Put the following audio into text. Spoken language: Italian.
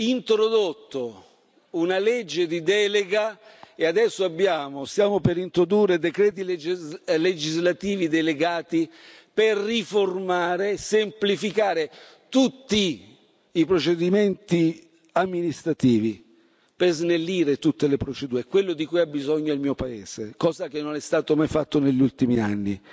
introdotto una legge di delega e adesso stiamo per introdurre decreti legislativi delegati per riformare e semplificare tutti i procedimenti amministrativi e snellire tutte le procedure. È quello di cui ha bisogno il mio paese, cosa che non è stata mai fatta negli ultimi anni.